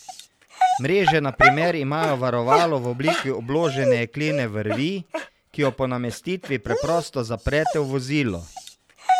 Mreže na primer imajo varovalo v obliki obložene jeklene vrvi, ki jo po namestitvi preprosto zaprete v vozilo.